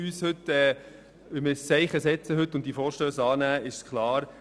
Wir können heute ein Zeichen setzen und diese Vorstösse annehmen, das ist klar.